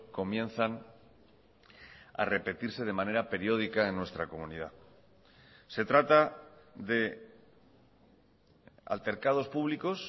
comienzan a repetirse de manera periódica en nuestra comunidad se trata de altercados públicos